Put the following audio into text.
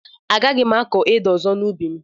Agaghị m akọ ede ọzọ n'ubi m